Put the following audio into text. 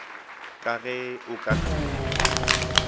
ka ge o ka se